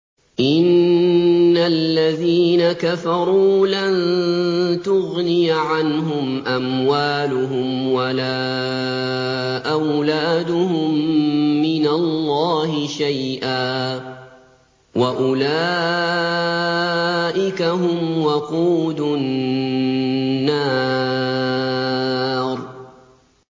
إِنَّ الَّذِينَ كَفَرُوا لَن تُغْنِيَ عَنْهُمْ أَمْوَالُهُمْ وَلَا أَوْلَادُهُم مِّنَ اللَّهِ شَيْئًا ۖ وَأُولَٰئِكَ هُمْ وَقُودُ النَّارِ